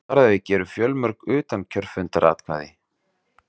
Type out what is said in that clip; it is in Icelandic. Þar að auki eru fjölmörg utankjörfundaratkvæði